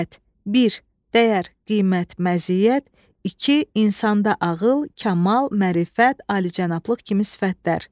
Bir, dəyər, qiymət, məziyyət, iki, insanda ağıl, kamal, mərifət, alicənablıq kimi sifətlər.